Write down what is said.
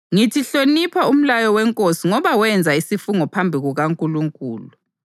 Ngithi hlonipha umlayo wenkosi ngoba wenza isifungo phambi kukaNkulunkulu.